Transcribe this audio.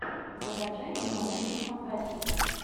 закачай ненаучную фантастику